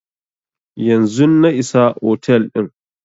Yanzun na iso otel din